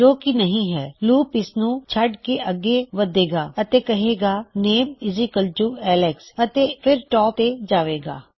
ਜੋਕੀ ਨਹੀ ਹੈ ਲੂਪ ਇਸਨੂੰ ਛੱਡ ਕੇ ਅੱਗੇ ਵਧੇਗਾ ਅਤੇ ਕਹੇਗਾ ਨੇਮਐੱਲਕਸ ਅਤੇ ਫਿਰ ਟਾਪ ਤੇ ਜਾਵੇ ਗਾ